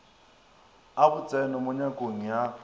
a botseno mo nyakong ya